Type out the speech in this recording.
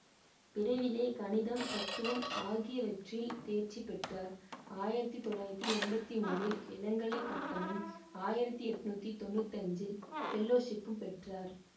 விரைவிலே கணிதம் தத்துவம் ஆகியவற்றில் தேர்ச்சி பெற்றார் ஆயிரத்தி தொள்ளாயிரத்தி எம்பத்தி மூணில் இளங்கலைப் பட்டமும் ஆயிரத்தி எண்ணூற்றி தொன்னூற்தஞ்சில் பெல்லொஷிப்பும் பெற்றார்